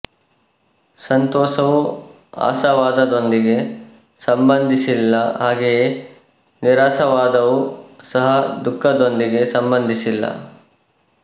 ಸಂತೋಷವು ಆಶಾವಾದದೊಂದಿಗೆ ಸಂಬಂಧಿಸಿಲ್ಲ ಹಾಗೆಯೇ ನಿರಾಶಾವಾದವೂ ಸಹ ದುಃಖದೊಂದಿಗೆ ಸಂಬಂಧಿಸಿಲ್ಲ